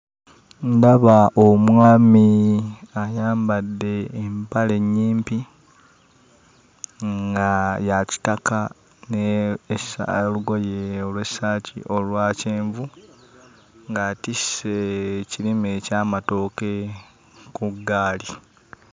Ndaba omwami ayambadde empale ennyimpi nga ya kitaka n'olugoye olw'essaati olwa kyenvu, ng'atisse ekirime eky'amatooke ku ggaali.